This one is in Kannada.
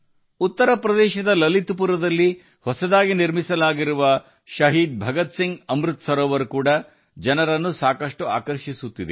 ಉತ್ತರ ಪ್ರದೇಶದ ಲಲಿತ್ ಪುರದಲ್ಲಿ ನೂತನವಾಗಿ ನಿರ್ಮಿಸಿರುವ ಶಹೀದ್ ಭಗತ್ ಸಿಂಗ್ ಅಮೃತ ಸರೋವರ ಕೂಡ ಸಾಕಷ್ಟು ಜನರನ್ನು ಸೆಳೆಯುತ್ತಿದೆ